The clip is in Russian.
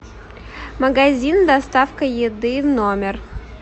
магазин доставка еды в номер